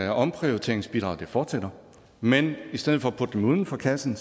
at omprioriteringsbidraget fortsætter men i stedet for at putte dem uden for kassen